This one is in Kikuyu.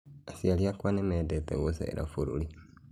Aciari akwa nĩmendete gũcera bũrũri